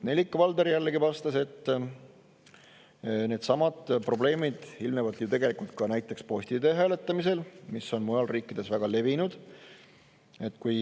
Nellika Valdor vastas, et needsamad probleemid ilmnevad tegelikult ka näiteks posti teel hääletamisel, mis on mujal riikides väga levinud.